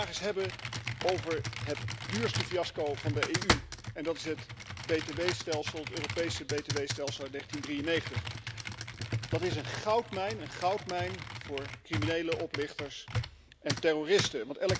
Laten we het vandaag eens hebben over het duurste fiasco van de EU en dat is het btw stelsel, het Europese btw stelsel uit 1993. Dat is een goudmijn, een goudmijn voor criminelen, oplichters en terroristen.